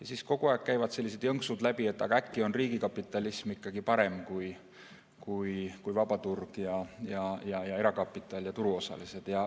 Aga kogu aeg käivad sellised jõnksud läbi, et äkki on riigikapitalism ikkagi parem kui vaba turg ja erakapital ja turuosalised.